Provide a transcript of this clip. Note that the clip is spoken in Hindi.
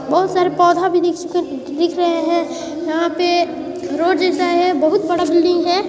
बहुत सारा पौधा भी दिख रहे है यहाँ पे रोड जैसा है बहुत बड़ा बिल्डिंग है।